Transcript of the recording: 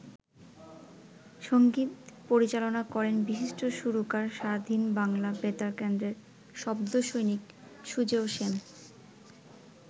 সঙ্গীত পরিচালনা করেন বিশিষ্ট সুরকার স্বাধীন বাংলা বেতারকেন্দ্রের শব্দসৈনিক সুজেয় শ্যাম।